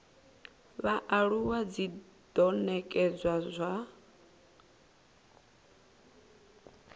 vhaaluwa dzi do nekedzwa u